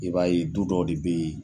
I b'a ye du dɔ de bɛ yen